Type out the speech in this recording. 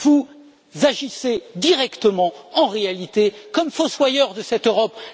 Vous agissez directement, en réalité, comme fossoyeur de cette Europe.